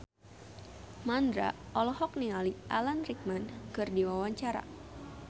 Mandra olohok ningali Alan Rickman keur diwawancara